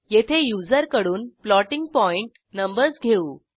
येथे युजरकडून floating point numbers घेऊ